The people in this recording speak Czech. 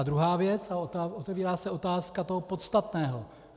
A druhá věc a otevírá se otázka toho podstatného.